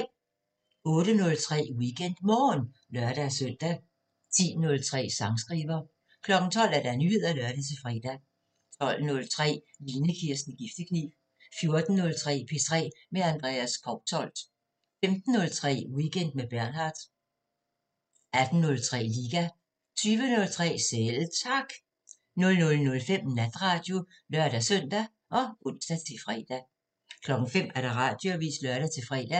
08:03: WeekendMorgen (lør-søn) 10:03: Sangskriver 12:00: Nyheder (lør-fre) 12:03: Line Kirsten Giftekniv 14:03: P3 med Andreas Kousholt 15:03: Weekend med Bernhard 18:03: Liga 20:03: Selv Tak 00:05: Natradio (lør-søn og ons-fre) 05:00: Radioavisen (lør-fre)